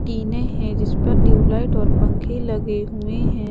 टीने है जिस पर ट्यूबलाइट और पंखे लगे हुए हैं।